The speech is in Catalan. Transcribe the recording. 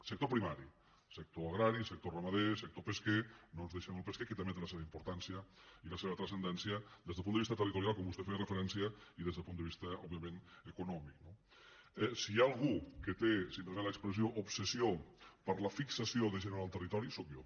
sector primari sector agrari sector ramader sector pesquer no ens deixem el pesquer que també té la seva importància i la seva transcendència des del punt de vista territorial com vostè hi feia referència i des del punt de vista òbviament econòmic no si hi ha algú que té si em permet l’expressió obsessió per la fixació de gent en el territori sóc jo